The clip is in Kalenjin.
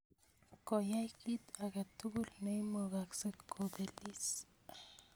Koyai kit ake tukul neimugaksei kopelis